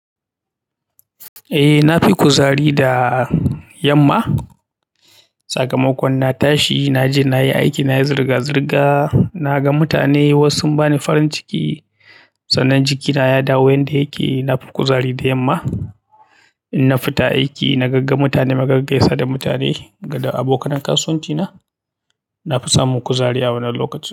Eh, na fi kuzari da yamma. Sakamakon na tashi, na je na yi aiki, na yi zirga-zirga, na ga mutane wasu sun ba ni farin ciki, sannan jikina ya dawo yanda yake. Na fi kuzari da yamma, in na fita aiki na gaga mutane, na gaggaisa da mutane, gado abokanin kasuwanci na, na fi samun kuzari a wannan lokaci.